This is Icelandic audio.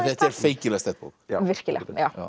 þetta er feikilega sterk bók virkilega